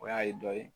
O y'a ye dɔ ye